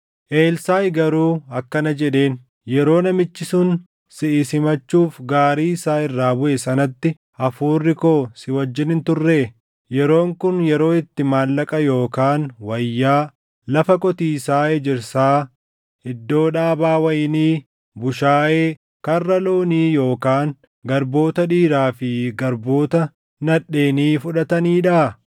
Elsaaʼi garuu akkana jedheen; “Yeroo namichi sun siʼi simachuuf gaarii isaa irraa buʼe sanatti hafuurri koo si wajjin hin turree? Yeroon kun yeroo itti maallaqa yookaan wayyaa, lafa qotiisaa ejersaa, iddoo dhaabaa wayinii, bushaayee, karra loonii yookaan garboota dhiiraa fi garboota nadheenii fudhataniidhaa?